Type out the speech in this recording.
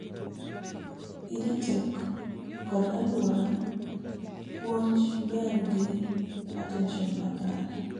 EdTech kod aluora puonj der gi attention makare